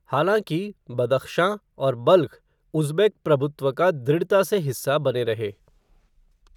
हालाँकि, बदख्शां और बल्ख उज़्बेक प्रभुत्व का दृढ़ता से हिस्सा बने रहे।